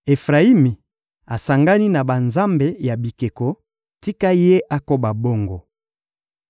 Efrayimi asangani na banzambe ya bikeko: tika ye akoba bongo!